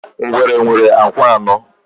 Ngwere nwere ụkwụ anọ.